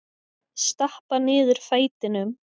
Stappa niður fætinum.